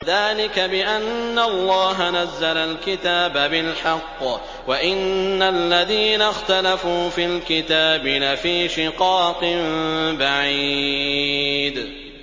ذَٰلِكَ بِأَنَّ اللَّهَ نَزَّلَ الْكِتَابَ بِالْحَقِّ ۗ وَإِنَّ الَّذِينَ اخْتَلَفُوا فِي الْكِتَابِ لَفِي شِقَاقٍ بَعِيدٍ